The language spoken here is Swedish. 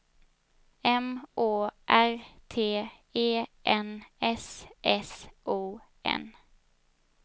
M Å R T E N S S O N